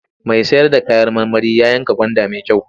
Mai sayar da kayan marmari ya yanka gwanda mai kyau.